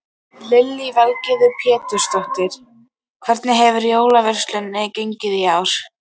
Lillý Valgerður Pétursdóttir: Hvernig hefur jólaverslunin gengið í ár?